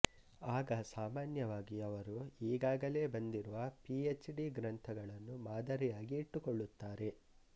ಆಗ ಸಾಮಾನ್ಯವಾಗಿ ಅವರು ಈಗಾಗಲೆ ಬಂದಿರುವ ಪಿ ಎಚ್ ಡಿ ಗ್ರಂಥಗಳನ್ನು ಮಾದರಿಯಾಗಿ ಇಟ್ಟುಕೊಳ್ಳುತ್ತಾರೆ